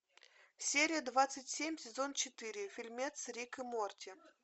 серия двадцать семь сезон четыре фильмец рик и морти